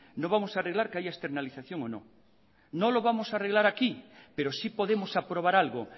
no vamos a arreglar que haya externalización o no no lo vamos a arreglar aquí pero sí podemos aprobar algo